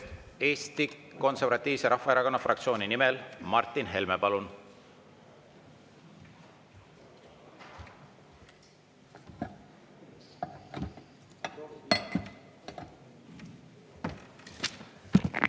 Eesti Konservatiivse Rahvaerakonna fraktsiooni nimel Martin Helme, palun!